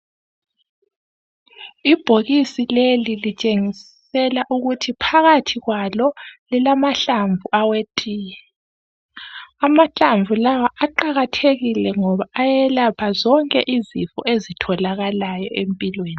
Ibhokisi leli litshengisela ukuthi phakathi kwalo lilamahlamvu awetiye Amahlamvu lawa aqakathekile ngoba ayelapha zonke izifo ezitholakalayo empilweni.